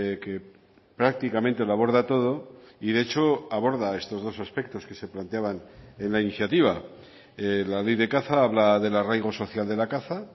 que prácticamente lo aborda todo y de hecho aborda estos dos aspectos que se planteaban en la iniciativa la ley de caza habla del arraigo social de la caza